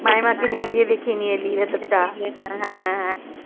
মাইমা কে নিয়ে গিয়ে দেখিয়ে নিয়ে এলি ভেতর তা